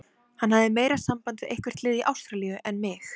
Hann hafði meira samband við eitthvert lið í Ástralíu en mig.